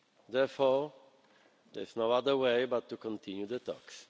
Therefore, there is no other way but to continue the talks.